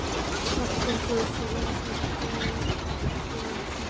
Kraftur sósu og súpur bæta.